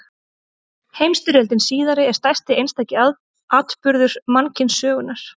Heimsstyrjöldin síðari er stærsti einstaki atburður mannkynssögunnar.